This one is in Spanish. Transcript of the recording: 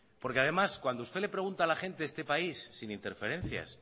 porque además cuando usted le pregunta a la gente de este país sin interferencias